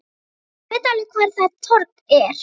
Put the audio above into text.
Ég veit alveg hvar það torg er.